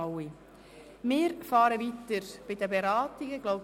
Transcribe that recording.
Nun fahren wir mit den Beratungen weiter.